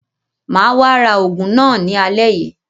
Mà á wá ra àwọn oògùn náà ní alẹ́ yìí.